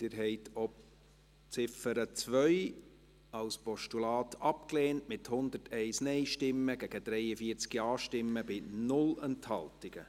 Sie haben auch die Ziffer 2 als Postulat abgelehnt, mit 43 Ja- zu 101 Nein-Stimmen bei 0 Enthaltungen.